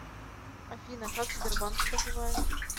афина как сбербанк поживает